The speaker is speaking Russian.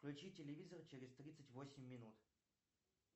включи телевизор через тридцать восемь минут